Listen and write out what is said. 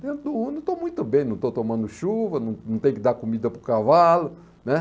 Dentro do Uno, estou muito bem, não estou tomando chuva, não não tenho que dar comida para o cavalo, né?